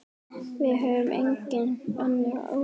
Við höfum engin önnur úrræði.